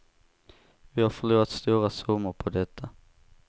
Vi har förlorat stora summor på detta.